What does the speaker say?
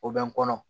O bɛ n kɔnɔ